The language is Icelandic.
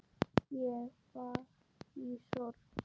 Ég var í sorg.